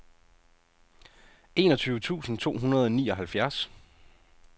enogtyve tusind to hundrede og nioghalvfjerds